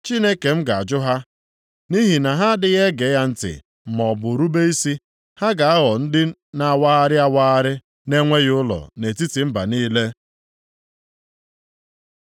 Chineke m ga-ajụ ha, nʼihi na ha adịghị ege ya ntị maọbụ rube isi. Ha ga-aghọ ndị na-awagharị awagharị na-enweghị ụlọ, nʼetiti mba niile.